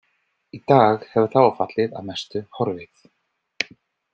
Í dag hefur þágufallið að mestu horfið.